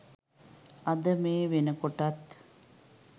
අද මේ වෙනකොටත්